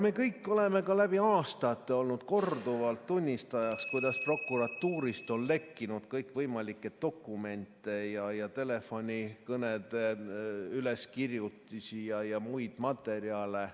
Me kõik oleme läbi aastate olnud korduvalt tunnistajaks , kuidas prokuratuurist on lekkinud kõikvõimalikke dokumente ja telefonikõnede üleskirjutisi ja muid materjale ...